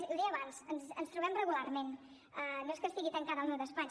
l’hi deia abans ens trobem regularment no és que estigui tancada al meu despatx